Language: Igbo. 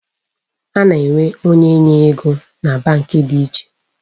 A na-enwe onye nye ego na Bank dị iche.